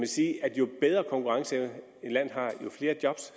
sige at jo bedre en konkurrenceevne et land har jo flere job